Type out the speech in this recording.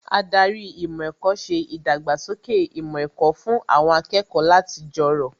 Ádárì ìmọ̀ ẹ̀kọ́ ṣe ìdàgbàsókè ìmọ̀ ẹ̀kọ́ fún àwọn akẹ́kọ̀ọ́ láti jọrọ̀